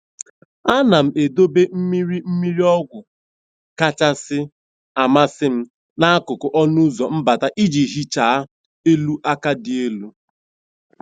a na m edobe mmiri mmiri ọgwụ kacha amasị m n'akụkụ ọnụ ụzọ mbata iji hichaa elu aka dị elu.